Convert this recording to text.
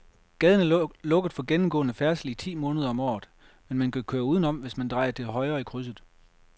Gaden er lukket for gennemgående færdsel ti måneder om året, men man kan køre udenom, hvis man drejer til højre i krydset.